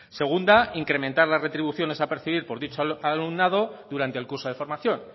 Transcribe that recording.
segunda incrementar las retribuciones a percibir por dicho alumnado durante el curso de formación